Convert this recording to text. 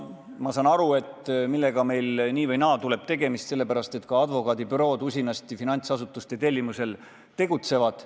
Ma saan aru, et sellega meil tuleb nii või naa tegemist, sest ka advokaadibürood tegutsevad finantsasutuste tellimusel usinasti.